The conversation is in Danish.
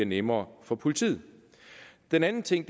nemmere for politiet den anden ting